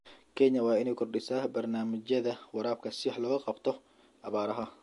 Kenya waa inay kordhisaa barnaamijyada waraabka si wax looga qabto abaaraha.